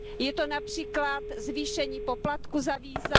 Je to například zvýšení poplatku za víza.